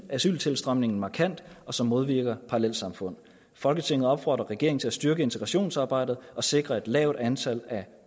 asyltilstrømningen markant og som modvirker parallelsamfund folketinget opfordrer regeringen til at styrke integrationsarbejdet og sikre et lavt antal af